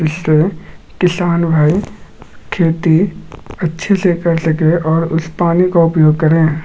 इससे किसान भाई खेती अच्छे से कर सके और उस पानी का उपयोग करे।